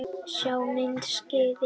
Sjá myndskeið hér